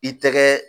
I tɛgɛ